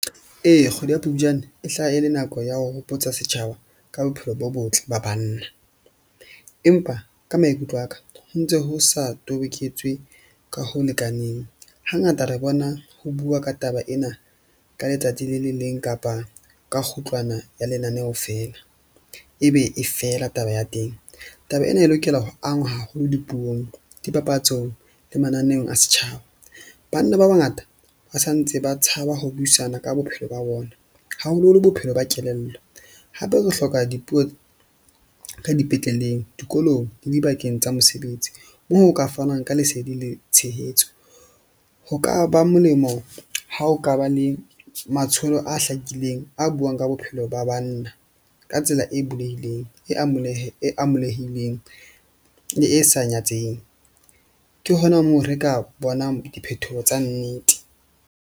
Ee, kgwedi ya Phupjane e hlaha e le nako ya ho hopotsa setjhaba ka bophelo bo botle ba banna. Empa ka maikutlo a ka ho ntso ho sa toboketswe ka ho lekaneng. Hangata re bona ho bua ka taba ena ka letsatsi le le leng kapa ka kgutlwana ya lenaneho feela ebe e fela taba ya teng. Taba ena e lokela ho angwa haholo dipuong, dipapatsong le mananeong a setjhaba. Banna ba bangata ba sa ntse ba tshaba ho buisana ka bophelo ba bona, haholoholo bophelo ba kelello. Hape re hloka dipuo ka dipetleleng, dikolong le dibakeng tsa mesebetsi. Moo o ka fanwang ka lesedi le tshehetso, ho ka ba molemo ha ho ka ba le matsholo a hlakileng a buang ka bophelo ba banna ka tsela e bulehileng, e e amolehileng le e sa nyatseheng. Ke hona moo re ka bonang diphethoho tsa nnete.